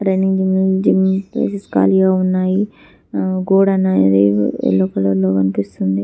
running gym places ఖాళీగా ఉన్నాయి ఆ గోడ అనేది ఎల్లో కలర్లో కనిపిస్తుంది